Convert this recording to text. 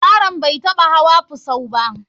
Yaron bai taɓa hawa fusau ba.